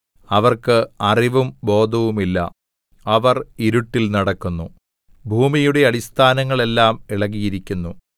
അവർക്ക് അറിവും ബോധവുമില്ല അവർ ഇരുട്ടിൽ നടക്കുന്നു ഭൂമിയുടെ അടിസ്ഥാനങ്ങൾ എല്ലാം ഇളകിയിരിക്കുന്നു